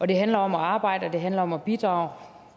det handler om at arbejde og det handler om at bidrage